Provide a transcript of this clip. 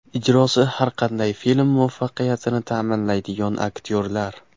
Ijrosi har qanday film muvaffaqiyatini ta’minlaydigan aktyorlar.